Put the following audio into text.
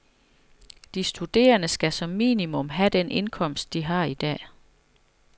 De studerende skal som minimum have den indkomst, de har i dag.